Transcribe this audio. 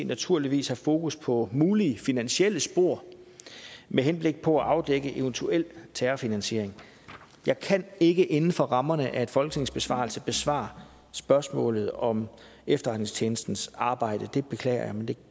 naturligvis have fokus på mulige finansielle spor med henblik på at afdække eventuel terrorfinansiering jeg kan ikke inden for rammerne af en folketingsbesvarelse besvare spørgsmålet om efterretningstjenestens arbejde det beklager jeg men det